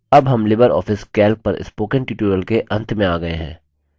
अब हम LibreOffice calc पर spoken tutorial के अंत में आ गये हैं